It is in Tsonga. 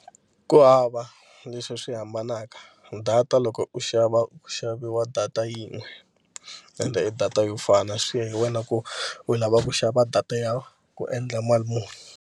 Ku hava leswi swi hambanaka data loko u xava u ku xaviwa data yin'we ende i data yo fana swi ya hi wena ku u lava ku xava data ya ku endla mali muni.